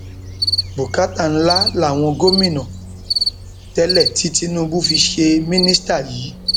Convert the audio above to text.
bùkátà ńlá làwọn gómìnà tẹlẹ tí tinúbù fi ṣe mínísítà yìí